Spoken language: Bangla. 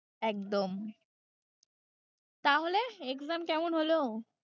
একদম তাহলে exam কেমন হল?